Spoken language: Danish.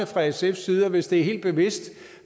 fra sfs side hvis det er helt bevidst